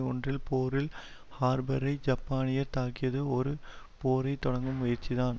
ஒன்றில் பேர்ல் ஹார்பரை ஜப்பானியர் தாக்கியது ஒரு போரை தொடக்கும் முயற்சிதான்